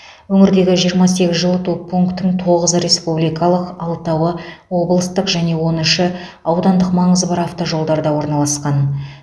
өңірдегі жиырма сегізі жылыту пунктің тоғызы республикалық алтауы облыстық және он үші аудандық маңызы бар автожолдарда орналасқан